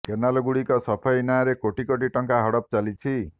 canal ଗୁଡ଼ିକ ସଫେଇ ନାଁଆରେ କୋଟି କୋଟି ଟଙ୍କା ହଡ଼ପ ଚାଲିଛି